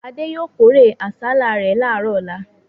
Adé yóò kórè àsálà rẹ̀ láàárọ̀ ọlá.